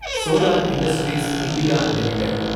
solar industries India limited